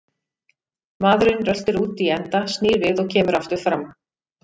Maðurinn röltir út í enda, snýr við og kemur aftur fram.